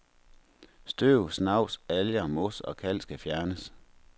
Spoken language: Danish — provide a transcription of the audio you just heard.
Støv, snavs, alger, mos og kalk skal fjernes.